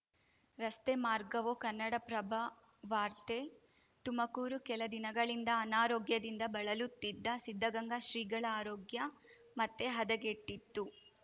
ರಸ್ತೆ ಮಾರ್ಗವೋ ಕನ್ನಡಪ್ರಭ ವಾರ್ತೆ ತುಮಕೂರು ಕೆಲ ದಿನಗಳಿಂದ ಅನಾರೋಗ್ಯದಿಂದ ಬಳಲುತ್ತಿದ್ದ ಸಿದ್ಧಗಂಗಾ ಶ್ರೀಗಳ ಆರೋಗ್ಯ ಮತ್ತೆ ಹದಗೆಟ್ಟಿತ್ತು